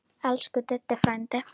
Elsku Diddi frændi.